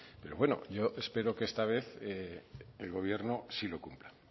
pero bueno yo espero que esta vez el gobierno sí lo cumpla